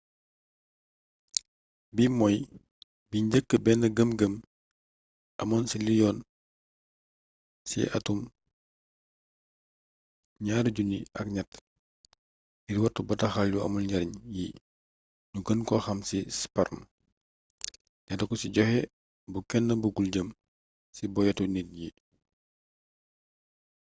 bi mooy bi njëkk bénn gëm gëm amoon ci liy yoon ci atum 2003 ngir wattu bataaxal yu amul njariñ yi ñu gën ko xam ci spam dale ko ci joxé bu kénn bugul jëm ci boyétu nit yi